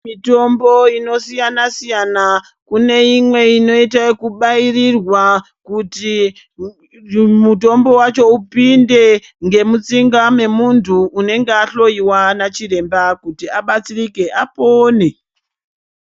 Mitombo inosiyana siyana kune imwe inoite ekubairirwa kuti mutombo wacho upinde ngemutsinga memuntu unenge ahloiwa nachiremba kuti abatsirike apone.